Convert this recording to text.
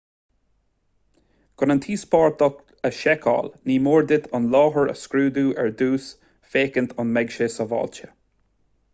chun an t-íospartach a sheiceáil ní mór duit an láthair a scrúdú ar dtús féachaint an mbeadh sé sábháilte